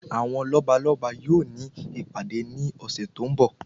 Àwọn lọ́balọ́ba yóò ní ìpàdé ní ọ̀sẹ̀ tó ń bọ̀.